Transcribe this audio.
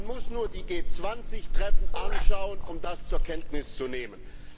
Man muss nur die G20 Treffen anschauen, um das zur Kenntnis zu nehmen.